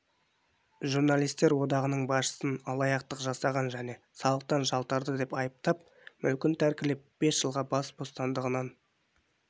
журналистер одағының басшысын алаяқтық жасаған және салықтан жалтарды деп айыптап мүлкін тәркілеп жылға бас бостандығынан